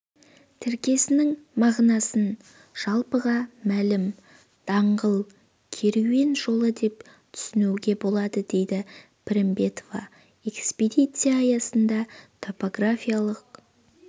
тіркесінің мағынасын жалпыға мәлім даңғыл керуен жолы деп түсінуге болады деді пірімбетова экспедиция аясында топографиялық